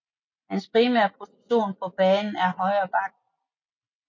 Hans primære position på banen er højre back